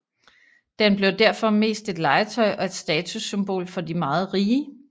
Den blev derfor mest et legetøj og et statussymbol for de meget rige